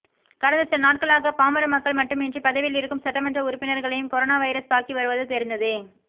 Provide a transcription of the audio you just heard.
கடந்த சில நாட்களாக பாமர மக்கள் மட்டுமின்றி பதவியில் இருக்கும் சட்டமன்ற உறுப்பினர்களையும் கொரோனா வைரஸ் தாக்கி வருவது தெரிந்ததே